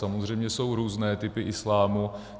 Samozřejmě jsou různé typy islámu.